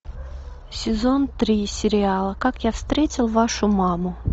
сезон три сериала как я встретил вашу маму